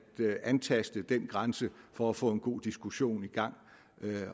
antaste den grænse for at få en god diskussion i gang